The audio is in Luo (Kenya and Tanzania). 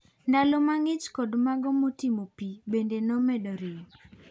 Ndalo mang'ich kod mago motimo pii bende nomedo rem.